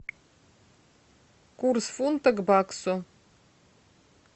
курс фунта к баксу